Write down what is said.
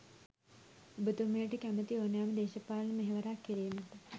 ඔබතුමියට කැමැති ඕනෑම දේශපාලන මෙහවරක් කිරීමට